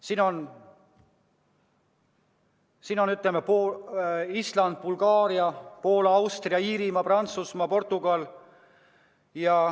Nende hulgas on näiteks Island, Bulgaaria, Poola, Austria, Iirimaa, Prantsusmaa ja Portugal.